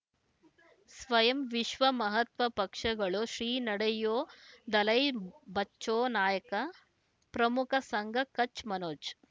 ಸ್ವಯಂ ವಿಶ್ವ ಮಹಾತ್ಮ ಪಕ್ಷಗಳು ಶ್ರೀ ನಡೆಯೂ ದಲೈ ಬಚೌ ನಾಯಕ ಪ್ರಮುಖ ಸಂಘ ಕಚ್ ಮನೋಜ್